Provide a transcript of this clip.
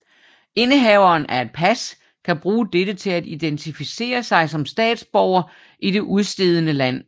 Indehaveren af et pas kan bruge dette til at identificere sig som statsborger i det udstedende land